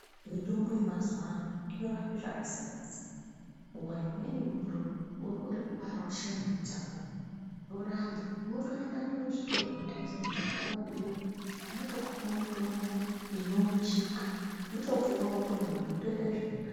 Mitombo yemazuwano inorapa zvakasiyana siyana nguwa imweni muntu urikude kubara chimwana chako zvoramba unotoenda muzvitoro zvinotengesa mitombo wovabhiira vanotokupawo mutombo inouchika wotopuwa wotomwa zvotoita zvirinani.